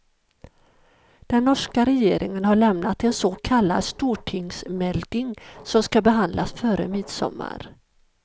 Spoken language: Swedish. Den norska regeringen har lämnat en så kallad stortingsmelding som ska behandlas före midsommar.